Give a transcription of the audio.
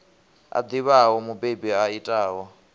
a ḓivhaho mubebi a itaho